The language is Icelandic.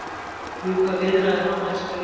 Vill ljúka viðræðum á næstu vikum